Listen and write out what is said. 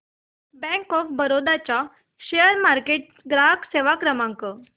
bank of Baroda चा share market ग्राहक सेवा क्रमांक